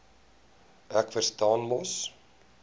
ek verstaan mos